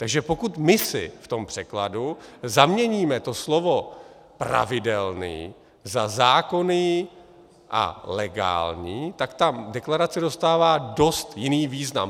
Takže pokud my si v tom překladu zaměníme to slovo "pravidelný" za "zákonný a legální", tak ta deklarace dostává dost jiný význam.